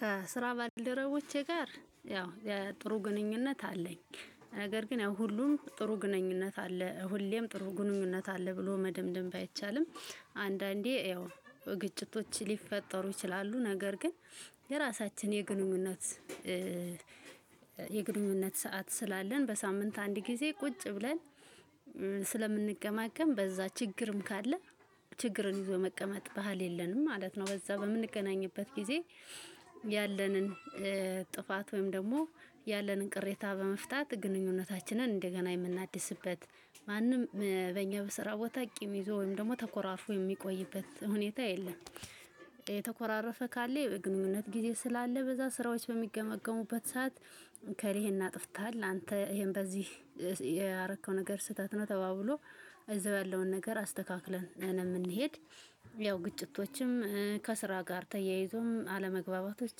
ከስራ ባልደረቦቼ ጋር ያው የጥሩ ግንኙነት አለኝ። ነገር ግን ያው ሁሉም ጥሩ ግንኙነት አለ ሁሌም ጥሩ ግንኙነት አለ ብሎ መደምደም ባይቻልም። አንዳንዴ ያው ግጭቶች ሊፈጠሩ ይችላሉ ነገር ግን። የራሳችን የግንኙነት ሰዓት ስላለን በሳምንት አንድ ጊዜ ቁጭ ብለን ስለምንገማገም በዛ ችግርም ካለ ችግርን ይዞ መቀመጥ ባህል የለንም ማለት ነው። በዛ በምንገናኝበት ጊዜ። ያለንን ጥፋት ወይም ደግሞ ያለንን ቅሬታ በመፍታት ግንኙነታችንን እንደገና የምናድስበት ማንም በእኛ በስራ ቦታ ቂም ይዞ ወይም ደግሞ ተኮራርፎ የሚቆይበት ሁኔታ የለም። የተኮራረፈ ካለ የግንኙነት ጊዜ ስላለ በዛ ስራዎች በሚገመገሙበት ሰዓት። ከሪሄን አጥፍተሃል አንተ ይሄን በዚህ ያረከው ነገር ስህተት ነው ተባብሎ እዛው ያለውን ነገር አስተካክለን እንሄድ። ያው ግጭቶችም ከስራ ጋር ተያይዞም አለመግባባቶች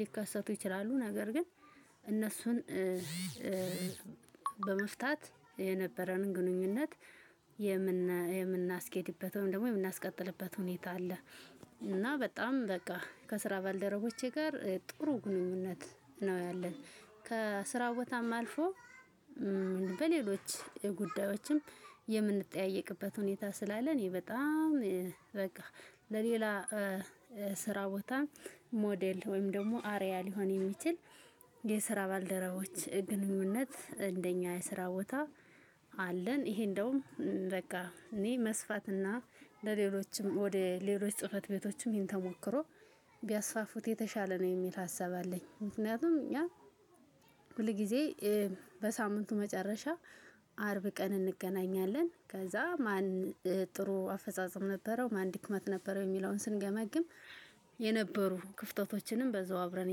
ሊከሰቱ ይችላሉ ነገር ግን። እነሱን በመፍታት የነበረንን ግንኙነት የምናስኬድበት ወይም ደግሞ የምናስቀጥልበት ሁኔታ። ከስራ ባልደረቦቼ ጋር ጥሩ ግንኙነት ነው ያለን። ከስራ ቦታም አልፎ በሌሎች ጉዳዮችም የምንጠያየቅበት ሁኔታ ስላለ። እኔ በጣም በቃ ለሌላ ስራ ቦታ ሞዴል ወይም ደግሞ አረያ ሊሆን የሚችል። የስራ ባልደረቦች ግንኙነት እንደኛ የስራ ቦታ አለን። ይሄ እንደውም በቃ እኔ በስፋት እና ለሌሎችም ወደ ሌሎች ጽህፈት ቤቶችም ይሄን ተሞክሮ ቢያስፋፉት የተሻለ ነው የሚል ሀሳብ አለኝ። ምክንያቱም ያ ሁል ጊዜ በሳምንቱ መጨረሻ አርብ ቀን እንገናኛለን። ከዛ ማን ጥሩ አፈጻጸም ነበረው ማን ድክመት ነበረው የሚለውን ስንገመግም። የነበሩ ክፍተቶችንም በዛው አብረን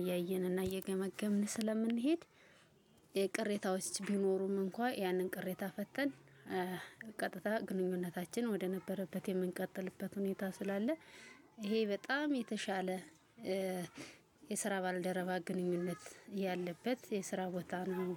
እያየን እና እየገመገምን ስለምንሄድ። የቅሬታዎች ቢኖሩም እንኳን ያንን ቅሬታ ፈተን ቀጥታ ግንኙነታችን ወደነበረበት የምንቀጥልበት ሁኔታ ስላለ። ይሄ በጣም የተሻለ የስራ ባልደረባ ግንኙነት ያለበት የስራ ቦታ ነው